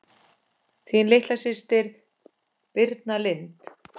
Þín litla systir Birna Lind.